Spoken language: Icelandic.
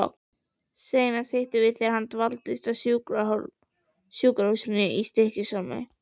Seinast hittumst við þegar hann dvaldist á sjúkrahúsinu í Stykkishólmi.